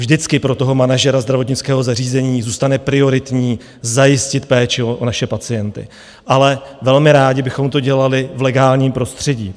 Vždycky pro toho manažera zdravotnického zařízení zůstane prioritní zajistit péči o naše pacienty, ale velmi rádi bychom to dělali v legálním prostředí.